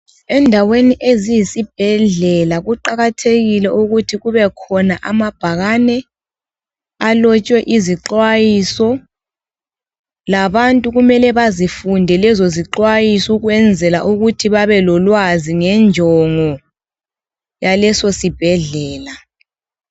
Endaweni eziyisibhedlela kuqakathekile ukuthi kubekhona amabhakane alotshwe izixwayiso. Labantu kumele bazifunde lezozixwayiso ukwenzela ukuthi babelolwazi ngenjongo yalesosibhedlela.